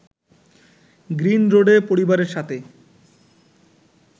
গ্রীনরোডে পরিবারের সাথে